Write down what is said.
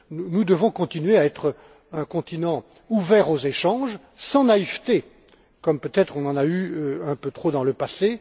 Nous devons continuer à être un continent ouvert aux échanges, sans naïveté, comme peut être on en a eu un peu trop dans le passé.